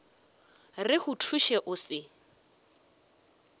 re go thuše o se